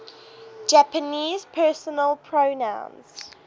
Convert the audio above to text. japanese personal pronouns